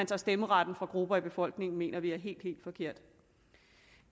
tager stemmeretten fra grupper af befolkningen mener vi er helt helt forkert